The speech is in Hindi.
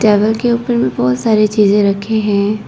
टेबल के ऊपर में बहोत सारी चीजें रखे हैं।